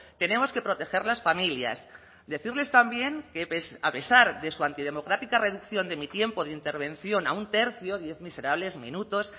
tenemos que proteger las familias decirles también que a pesar de su antidemocrática reducción de mi tiempo de intervención a un tercio diez miserables minutos